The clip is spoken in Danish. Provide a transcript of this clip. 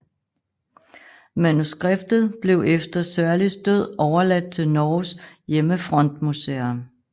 Manuskriptet blev efter Sørlis død overladt til Norges Hjemmefrontmuseum